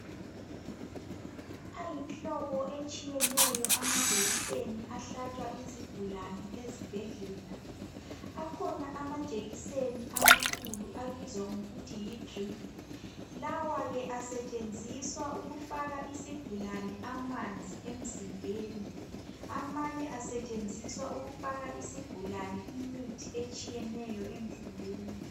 Ayimihlobo etshiyeneyo amajekiseni ahlatshwa izigulane ezibhedlela. Akhona amajekiseni amakhulu abizwa ngokuthi yidriphu. Lawa ke asetshenziswa ukufaka isigulane amanzi emzimbeni, amanye asetshenziswa ukufaka isigulane imithi etshiyeneyo emzimbeni.